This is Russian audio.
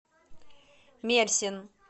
мерсин